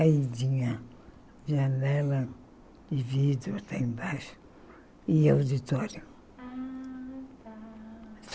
Aí tinha janela de vidro lá embaixo e auditório. Ah tá